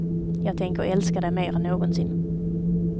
Jag tänker älska dig mer än någonsin.